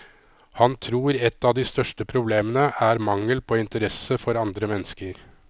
Han tror et av de største problemene er mangel på interesse for andre mennesker.